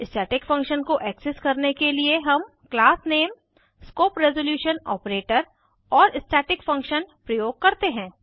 static function को access करने के लिए हम क्लासनेम160 स्कोप रेज़ोल्यूशन ऑपरेटर और स्टैटिक फंक्शन प्रयोग करते हैं